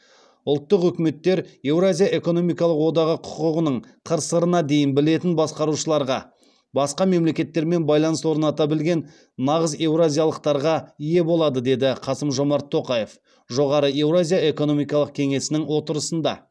ұлттық үкіметтер еуразия экономикалық одағы құқығының қыр сырына дейін білетін басқарушыларға басқа мемлекеттермен байланыс орната білген нағыз еуразиялықтарға ие болады деді қасым жомарт тоқаев жоғары еуразия экономикалық кеңесінің отырысында